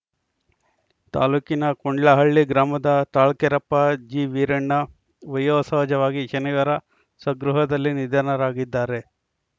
ತಾಲೂಕಿನ ಕೊಂಡ್ಲಹಳ್ಳಿ ಗ್ರಾಮದ ತಾಳ್ಕೆರೆಪ್ಪ ಜಿ ವೀರಣ್ಣ ವಯೋ ಸಹಜವಾಗಿ ಶನಿವಾರ ಸ್ವಗೃಹದಲ್ಲಿ ನಿಧನರಾಗಿದ್ದಾರೆ